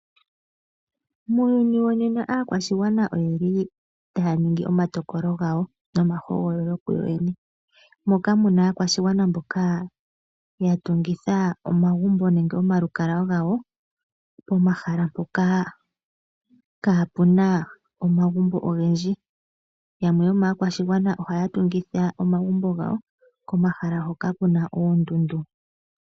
Muuyuni wonena aakwashigwana oyeli taya ningi omatokolo gawo nomahogololo kuyoyene, moka muna aakwashigwana mboka yatungitha omagumbo nenge omalukalwa gawo pomahala mpoka kapuna omagumbo ogendji. Yamwe yomaakwashigwana ohaya tungitha omagumbo gawo komahala hoka kuna oondundu.